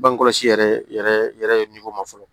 Bange kɔlɔsi yɛrɛ yɛrɛ ye ma fɔlɔ